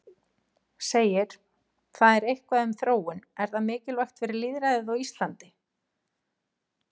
Segir það eitthvað um þróun, er það mikilvægt fyrir lýðræðið á Íslandi?